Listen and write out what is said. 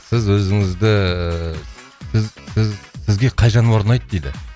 сіз өзіңізді сіз сіз сізге қай жануар ұнайды дейді